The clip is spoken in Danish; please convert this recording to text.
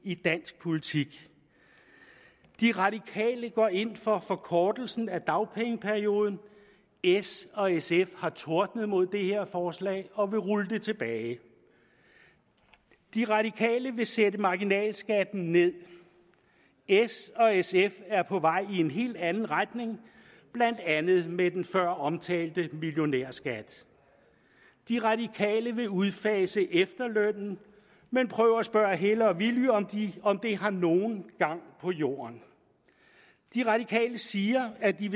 i dansk politik de radikale går ind for forkortelsen af dagpengeperioden s og sf har tordnet mod det her forslag og vil rulle det tilbage de radikale vil sætte marginalskatten ned s og sf er på vej i en helt anden retning blandt andet med den føromtalte millionærskat de radikale vil udfase efterlønnen men prøv at spørge helle og villy om det har nogen gang på jorden de radikale siger at de